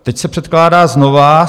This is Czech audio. Teď se předkládá znovu.